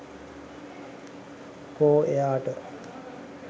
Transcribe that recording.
කෝ එයාට?